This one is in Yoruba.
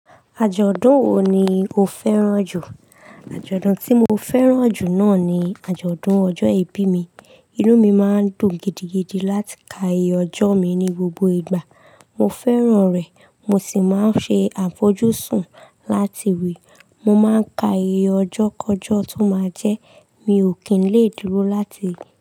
Ajọdun wo ni o fẹran ju? Ajọdun ti mo fẹran ju naa ni ajọdun ọjọ ibi mi. Inu mi maa n dun gidigidi lati ka oye ọjọ mi ni gbogbo igba. Mo fẹran rẹ, mo si maa n ṣe afọjuṣun lati ri. Mo maa n ka oye ọjọ kọjọ ti o maa jẹ. Mi o ki i le duro lati ri.